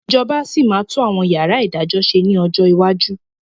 Ìjọba sì máa tún àwọn yàrá ìdájọ́ ṣe ni ọjọ́ iwájú